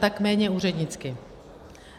Tak méně úřednicky.